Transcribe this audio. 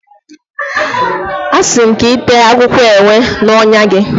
Asi m ka i tee akwukwo ewe na ọnyá gị.